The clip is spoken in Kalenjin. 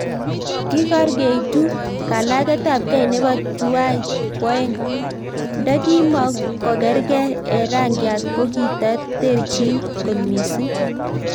Kikarkeituu kalaget ap kei nepoo tuwai kwoeng .Ndekimokokargei eng rangiat kokitaterchiin kot mising